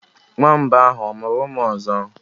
Nwamba ahụ ọ mụrụ ụmụ ọzọ?